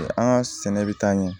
An ka sɛnɛ bɛ taa ɲɛ